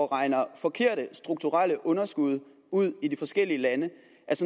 regner forkerte strukturelle underskud ud i de forskellige lande